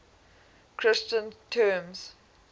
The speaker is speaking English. christian terms